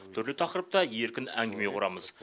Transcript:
түрлі тақырыпта еркін әңгіме құрамыз